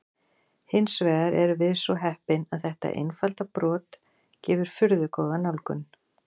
Hins vegar erum við svo heppin að þetta einfalda brot gefur furðu góða nálgun.